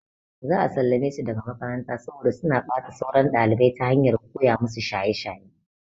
Za a sallame su daga makaranta saboda suna ɓata sauran ɗalibai ta hanyar koya musu shaye shaye.